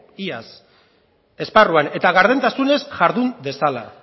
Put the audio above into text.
iaz esparruan eta gardentasunez jardun dezala